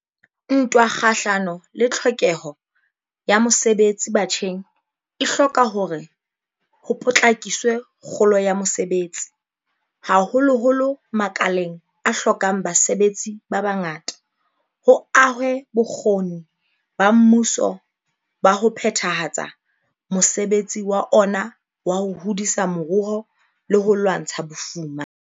Ntwa kgahlano le tlhokeho ya mosebetsi batjheng e hloka hore ho potlakiswe kgolo ya mosebetsi, haholoholo makaleng a hlokang basebetsi ba bangata, ho ahwe bokgoni ba mmuso ba ho phethahatsa mosebetsi wa ona wa ho hodisa moruo le ho lwantsha bofuma.